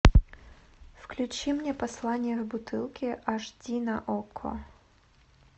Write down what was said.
включи мне послание в бутылке аш ди на окко